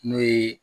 N'o ye